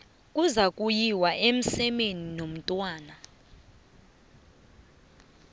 kuzakuyiwa emsemeni nomntwana